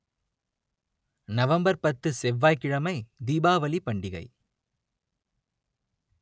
November பத்து செவ்வாய் கிழமை தீபாவளி பண்டிகை